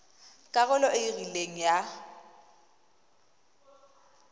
karolo e e rileng ya